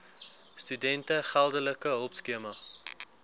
studente geldelike hulpskema